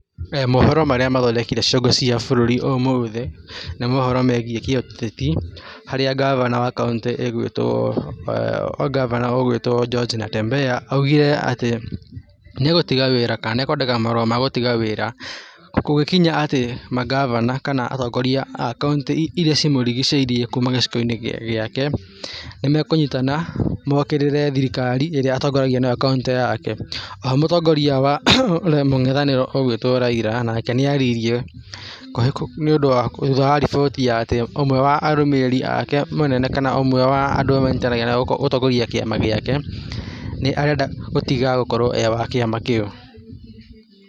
Mohoro marĩa mathondekire ciongo cia bũrũri ũmũthĩ nĩ mohoro megiĩ kĩ-ũteti harĩa Gabana wa Kauntĩ ĩgwĩtwo, gabana ũgwĩtwo George Natembea, augire atĩ nĩ egũtiga wĩra kana nĩ ekwandĩka marũa ma gũtiga wĩra kũngĩkinya atĩ Magabana kana atongoria a kaũntĩ iria cimũrigicĩirie kuma gĩcigo-inĩ gĩake nĩmekũnyitana mokĩrĩre thirikari ĩrĩa atongoragia nayo kaũntĩ yake, oho mũtongoria wa mung'ethaniro egwĩtwo Raila onake nĩ aririe nĩ ũndũ wa thutha wa riboti ya atĩ ũmwe wa arũmĩrĩri ake mũnene kana ũmwe wa andũ arĩa manyitanagĩra gũtongoria kĩama gĩake nĩ arenda gũtiga gũkorwo e wa kĩama kĩu.